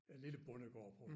En lille bondegård på